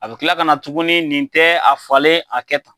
A bɛ kila ka na tuguni, nin tɛ a falen, a kɛ tan.